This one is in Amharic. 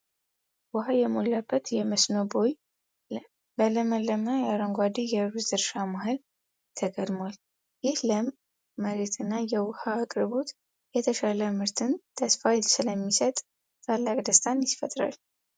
ውሃ የሞላበት የመስኖ ቦይ በለመለመ አረንጓዴ የሩዝ እርሻ መሃል ተጋድሟል። ይህ ለም መሬትና የውሃ አቅርቦት የተሻለ ምርትን ተስፋ ስለሚሰጥ ታላቅ ደስታን ይፈጥራል።